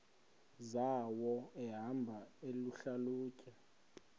zawo ehamba eyihlalutya